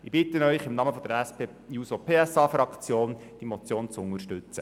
Ich bitte Sie im Namen von der SP-JUSO-PSA-Fraktion, die Motion zu unterstützen.